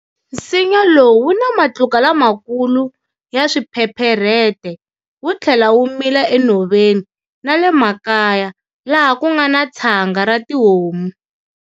Nsinya lowu wu na matluka lamakulu ya swiphepherete, wu tlhela wu mila enhoveni na le makaya laha ku nga na tshanga ra tihomu.